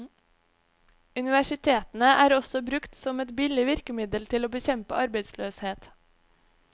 Universitetene er også brukt som et billig virkemiddel til å bekjempe arbeidsløshet.